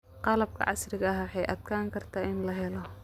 Qalabka casriga ah way adkaan kartaa in la helo.